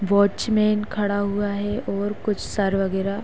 watchman खड़ा हुआ है और कुछ सर वगेरा --